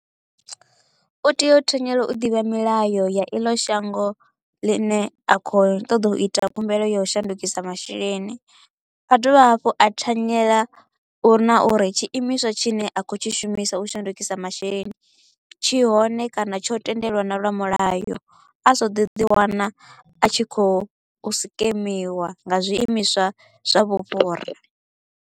U tea u thanyela u ḓivha milayo ya iḽo shango ḽine a kho u ṱoḓa u ita khumbelo ya u shandukisa masheleni, a dovha hafhu a thanyela uri na uri tshi imiswa tshine a kho u tshi shumisa u shandukisa masheleni tshi hone kana tsho tendelwa na lwa mulayo, a sa ḓo ḓi wana a tshi kho u scamiwa nga zwiimiswa zwa vhufhura.